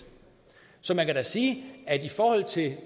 så man kan sige at i forhold til